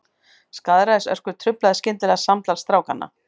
Skaðræðisöskur truflaði skyndilega samtal strákanna.